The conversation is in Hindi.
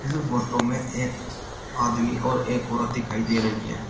फोटो में एक आदमी और एक औरत दिखाई दे रही है।